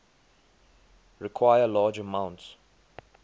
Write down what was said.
require large amounts